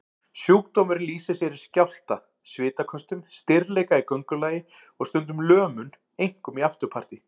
Sjúkdómurinn lýsir sér í skjálfta, svitaköstum, stirðleika í göngulagi og stundum lömun, einkum í afturparti.